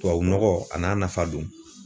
Tubabunɔgɔ a n'a nafa don